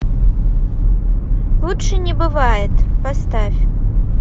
лучше не бывает поставь